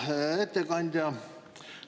Hea ettekandja!